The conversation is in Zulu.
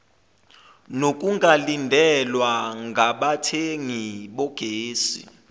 nokungalindelwa ngabathengi bogesi